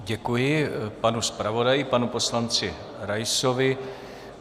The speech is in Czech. Děkuji panu zpravodaji, panu poslanci Raisovi.